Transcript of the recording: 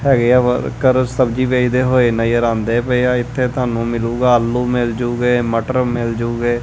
ਹੈਗੇ ਆ ਕਰ ਸਬਜੀ ਵੇਚਦੇ ਹੋਏ ਨਜ਼ਰ ਆਉਂਦੇ ਪਏ ਆ ਇੱਥੇ ਤੁਹਾਨੂੰ ਮਿਲੂਗਾ ਆਲੂ ਮਿਲ ਜੂਗੇ ਮਟਰ ਮਿਲ ਜੂਗੇ।